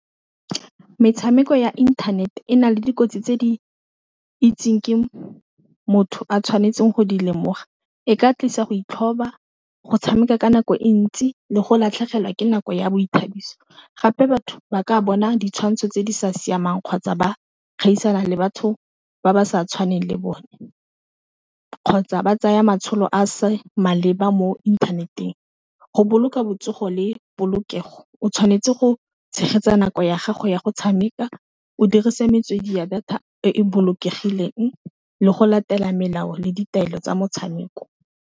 Metshameko ya internet-e, e na le dikotsi tse di itseng ke motho a tshwanetseng go di lemoga e ka tlisa go itlhatlhoba, go tshameka ka nako e ntsi, le go latlhegelwa ke nako ya boithabiso, gape batho ba ka bona ditshwantsho tse di sa siamang kgotsa ba gaisana le batho ba ba sa tshwaneng le bone kgotsa ba tsaya matshelo a se maleba mo inthaneteng go boloka botsogo le polokego o tshwanetse go tshegetsa nako ya gago ya go tshameka o dirisa metswedi ya data e bolokegileng, le go latela melao le ditaelo tsa motshameko.